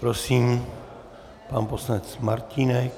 Prosím, pan poslanec Martínek.